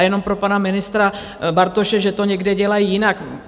A jenom pro pana ministra Bartoše, že to někde dělají jinak.